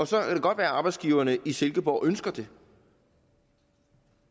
så kan det godt være at arbejdsgiverne i silkeborg ønsker det